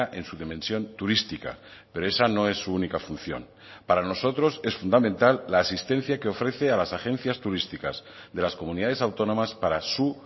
en su dimensión turística pero esa no es su única función para nosotros es fundamental la asistencia que ofrece a las agencias turísticas de las comunidades autónomas para su